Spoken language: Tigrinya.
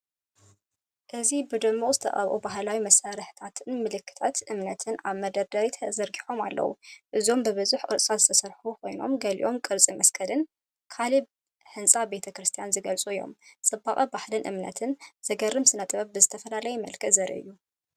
እዚ ብድሙቕ ዝተቐብኡ ባህላዊ መሳርሕታትን ምልክታት እምነትን ኣብ መደርደሪታት ተዘርጊሖም ኣለዉ። እዚኦም ብብዙሕ ቅርጽታት ዝተሰርሑ ኮይኖም ገሊኦም ቅርጺ መስቀልን ካልእ ህንጻ ቤተ ክርስቲያንን ዝገልጹ እዮም። ጽባቐ ባህልን እምነትን፡ ዘገርም ስነ-ጥበብ ብዝተፈላለየ መልክዕ ዘርኢ እዩ።